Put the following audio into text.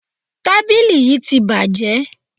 Tábìlì yí ti bàjé.